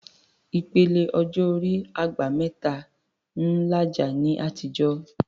Ìpele ọjọ́ orí "àgbà mẹ́ta" ń làjà ní àtijọ́